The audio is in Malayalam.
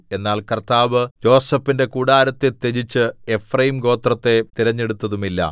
എന്നാൽ കർത്താവ് യോസേഫിന്റെ കൂടാരത്തെ ത്യജിച്ച് എഫ്രയീംഗോത്രത്തെ തിരഞ്ഞെടുത്തതുമില്ല